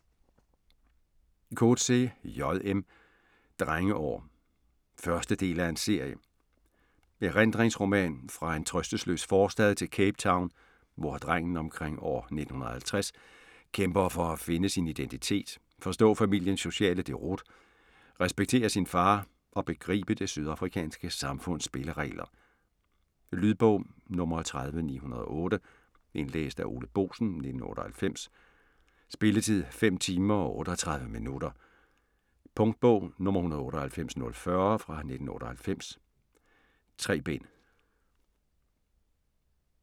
Coetzee, J. M.: Drengeår 1. del af serie. Erindringsroman fra en trøstesløs forstad til Cape Town, hvor drengen omkring år 1950 kæmper for at finde sin identitet, forstå familiens sociale deroute, respektere sin far og begribe det sydafrikanske samfunds spilleregler. Lydbog 30908 Indlæst af Ole Boesen, 1998. Spilletid: 5 timer, 38 minutter. Punktbog 198040 1998. 3 bind.